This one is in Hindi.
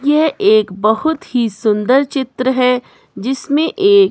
यह एक बहुत ही सुंदर चित्र है जिसमें एक--